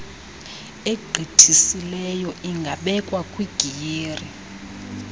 egqithisileyo ingabekwa kwigiyeri